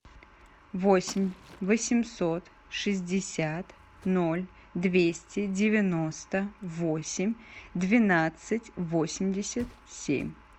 восемь восемьсот шестьдесят ноль двести девяносто восемь двенадцать восемьдесят семь